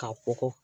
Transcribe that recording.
K'a kɔgɔ